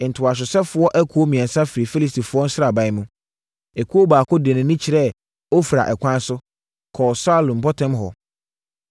Ntohyɛsofoɔ akuo mmiɛnsa firii Filistifoɔ sraban mu. Ekuo baako de nʼani kyerɛɛ Ofra ɛkwan so, kɔɔ Sual mpɔtam hɔ.